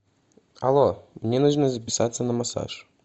алло мне нужно записаться на массаж